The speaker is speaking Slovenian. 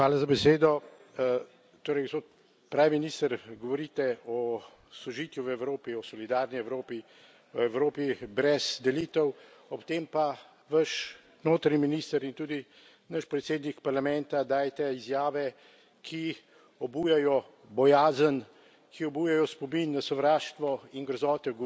premier, govorite o sožitju v Evropi, o solidarni Evropi, o Evropi brez delitev, ob tem pa vaš notranji minister in tudi naš predsednik Parlamenta dajeta izjave, ki obujajo bojazen, ki obujajo spomin na sovraštvo in grozote.